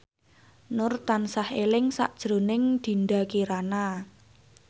Nur tansah eling sakjroning Dinda Kirana